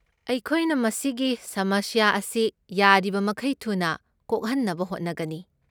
ꯑꯩꯈꯣꯏꯅ ꯃꯁꯤꯒꯤ ꯁꯃꯁ꯭ꯌꯥ ꯑꯁꯤ ꯌꯥꯔꯤꯕꯃꯈꯩ ꯊꯨꯅ ꯀꯣꯛꯍꯟꯅꯕ ꯍꯣꯠꯅꯒꯅꯤ꯫